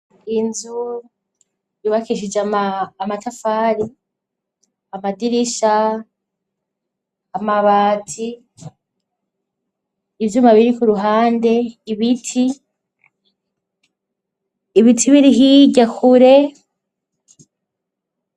Inzu yubakishije amatafari, amadirisha, amabati, ivyuma biri ku ruhande ibiti, ibiti biri hirya kure.